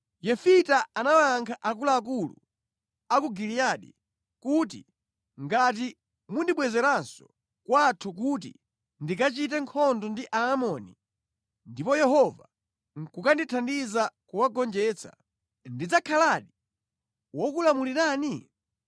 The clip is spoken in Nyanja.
Yefita anawayankha akuluakulu a ku Giliyadi kuti, “Ngati mundibwezeranso kwathu kuti ndikachite nkhondo ndi Aamoni ndipo Yehova nʼkukandithandiza kuwagonjetsa, ndidzakhaladi wokulamulirani?”